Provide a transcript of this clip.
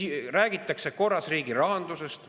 Räägitakse korras riigirahandusest.